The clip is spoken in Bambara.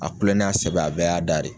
A kulon n'a sɛbɛ a bɛɛ y'a da de ye